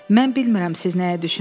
Mən bilmirəm siz nəyə düşünürsünüz.